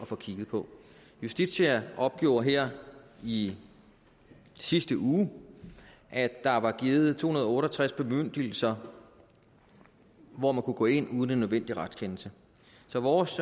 få kigget på justitia opgjorde her i sidste uge at der var givet to hundrede og otte og tres bemyndigelser hvor man kunne gå ind uden en nødvendig retskendelse så vores